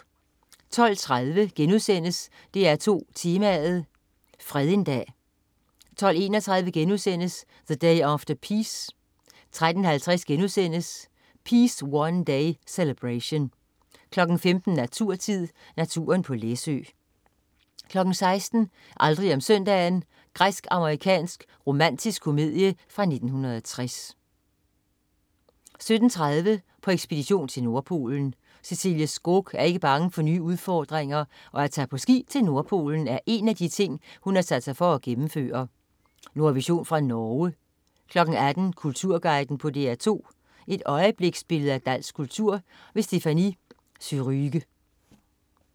12.30 DR2 Tema: Fred en dag* 12.31 The Day After Peace* 13.50 Peace One Day. Celebration* 15.00 Naturtid. Naturen på Læsø* 16.00 Aldrig om søndagen. Græsk-amerikansk romantisk komedie fra 1960 17.30 På ekspedition til Nordpolen. Cecilie Skog er ikke bange for nye udfordringer, og at tage på ski til Nordpolen er en af de ting, hun har sat sig for at gennemføre. Nordvision fra Norge 18.00 Kulturguiden på DR2. Et øjebliksbillede af dansk kultur. Stéphanie Surrugue